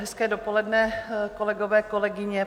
Hezké dopoledne, kolegové, kolegyně.